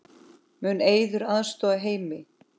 Mun Eiður aðstoða Heimi?